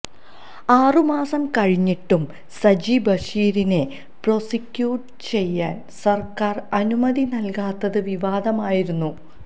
ആറു മാസം കഴിഞ്ഞിട്ടും സജി ബഷീറിനെ പ്രോസിക്യൂട്ട് ചെയ്യാൻ സർക്കാർ അനുമതി നൽകാത്തത് വിവാദമായിരുന്നു